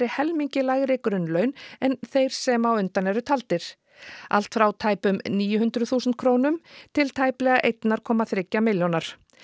helmingi lægri grunnlaun en þeir sem á undan eru taldir allt frá tæpum níu hundruð þúsund krónum til tæprar eitt komma þriggja milljóna